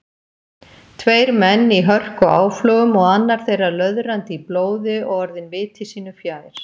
Tveir menn í hörkuáflogum og annar þeirra löðrandi í blóði og orðinn viti sínu fjær.